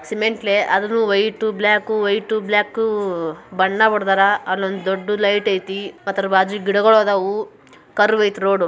Cement ಅದೇ white black white black ಬಣ್ಣ ಹೊಡೆದವರ ಅಲ್ಲೊಂದು ದೊಡ್ಡ ಲೈಟ್ ಅಯ್ತಿ. ಅದ್ರ ಬಾಜು ಗಿಡಗಳು ಅದವು ಕರ್ವೇ ಐತಿ ರೋಡ್ .